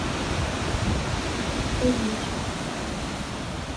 углич